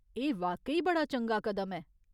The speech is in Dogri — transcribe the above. एह् वाकई बड़ा चंगा कदम ऐ !